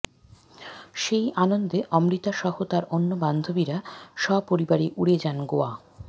সেই আনন্দে অমৃতা সহ তাঁর অন্য বান্ধবীরা সপরিবারে উড়ে যান গোয়া